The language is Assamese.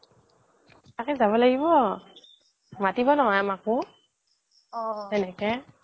তাকে যাব লাগিব মাটিব নহয় আমাকো সেনেকে